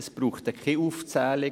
Es braucht keine Aufzählung.